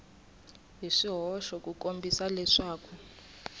hi swihoxo ku kombisa leswaku